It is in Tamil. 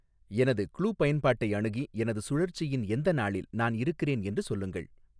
எனது க்ளூ பயன்பாட்டை அணுகி எனது சுழற்சியின் எந்த நாளில் நான் இருக்கிறேன் என்று சொல்லுங்கள்